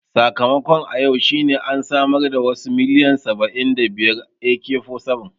Sakamakon a yau shine an samar da wasu miliyan saba'in da biyar AK-47